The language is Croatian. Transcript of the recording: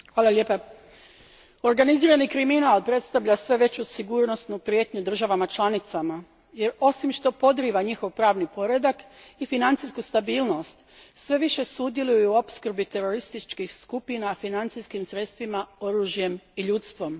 Gospođo predsjednice, organizirani kriminal predstavlja sve veću sigurnosnu prijetnju državama članicama. Osim što podriva njihov pravni poredak i financijsku stabilnost, sve više sudjeluje u opskrbi terorističkih skupina financijskim sredstvima, oružjem i ljudstvom.